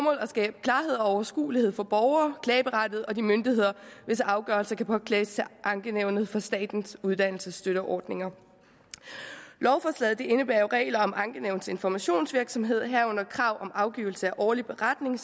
at skabe klarhed og overskuelighed for borgere og de myndigheder hvis afgørelser kan påklages til ankenævnet for statens uddannelsesstøtteordninger lovforslaget indebærer regler om ankenævnets informationsvirksomhed herunder krav om afgivelse af årlig beretning